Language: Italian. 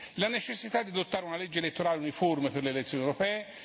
la necessità di adottare una legge elettorale uniforme per le elezioni europee